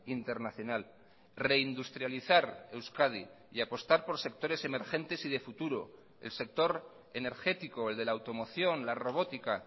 internacional reindustrializar euskadi y apostar por sectores emergentes y de futuro el sector energético el de la automoción la robótica